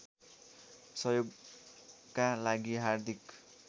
सहयोगका लागि हार्दिक